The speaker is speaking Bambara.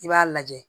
I b'a lajɛ